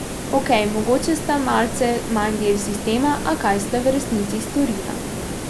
Okej, mogoče sta malce manj del sistema, a kaj sta v resnici storila?